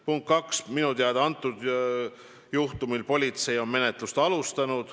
Punkt 2: minu teada on politsei selle juhtumi menetlust alustanud.